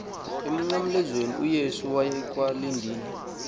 emnqamlezweni uyesu wayekwalidini